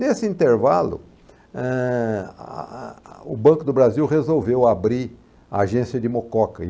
Nesse intervalo, eh, a a o Banco do Brasil resolveu abrir a agência de Mococa, e